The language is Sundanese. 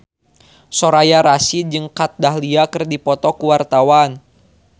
Soraya Rasyid jeung Kat Dahlia keur dipoto ku wartawan